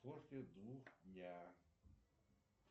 я